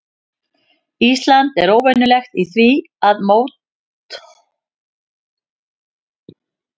Ísland er óvenjulegt í því að möttulstrókur og gliðnunarbelti falli saman.